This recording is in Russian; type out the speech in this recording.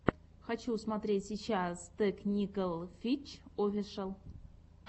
хочу смотреть сейчас тэкникэл хитч офишэл